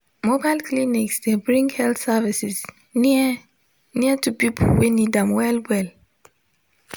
mobile clinics dey bring health services near near to people wey need them well well.